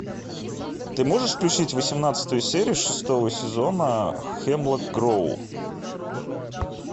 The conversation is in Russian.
ты можешь включить восемнадцатую серию шестого сезона хемлок гроув